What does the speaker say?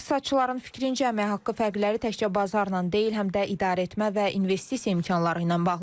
İqtisadçıların fikrincə, əmək haqqı fərqləri təkcə bazarla deyil, həm də idarəetmə və investisiya imkanları ilə bağlıdır.